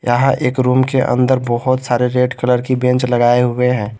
यहां एक रूम के अंदर बहुत सारे रेड कलर की बेंच लगाए हुए हैं।